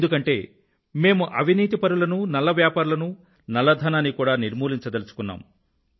ఎందుకంటే మేము అవినీతిపరులనూ నల్ల వ్యాపారులనూ నల్ల ధనాన్నీ కూడా నిర్మూలించదలుచుకొన్నాము